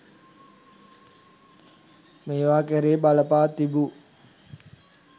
මේවා කෙරෙහි බලපා තිබූ